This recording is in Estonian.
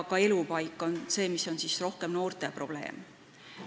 Elupaik on rohkem noorte probleem.